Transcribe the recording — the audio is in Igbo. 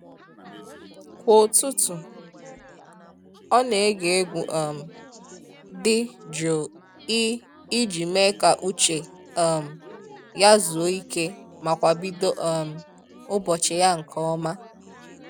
Kwa ụtụtụ, ọ na ege egwu um dị jụụ i i ji mee ka uche um ya zuo ike ma kwa bido um ụbọchị ya nke ọma.